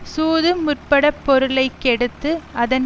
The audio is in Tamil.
சூது முற்பட பொருளை கெடுத்து அதன்